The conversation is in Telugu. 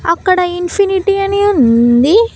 అక్కడ ఇన్ఫినిటీ అని ఉంది.